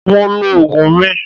Mo lo oògùn mi